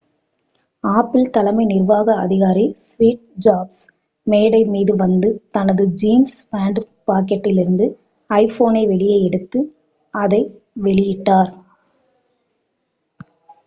apple தலைமை நிர்வாக அதிகாரி ஸ்டீவ் ஜாப்ஸ் மேடை மீது வந்து தனது ஜீன்ஸ் பேண்ட் பாக்கெட்டிலிருந்து ஐபோனை வெளியே எடுத்து அதை வெளியிட்டார்